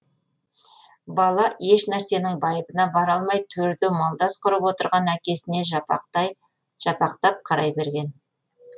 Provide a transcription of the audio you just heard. бала ешнәрсенің байыбына бара алмай төрде малдас құрып отырған әкесіне жапақтап қарай берген